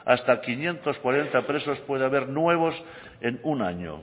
hasta quinientos cuarenta presos puede haber nuevos en un año